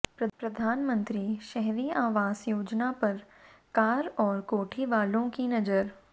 प्रधानमंत्री शहरी आवास योजना पर कार और कोठी वालों की नजर